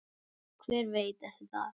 Hver veit eftir það?